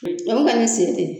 Ɲa kuma ne sen te yen